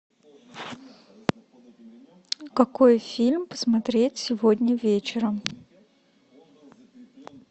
какой фильм посмотреть сегодня вечером